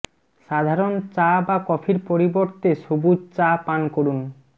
সাধারণ চা বা কফির পরিবর্তে সবুজ চা পান করুন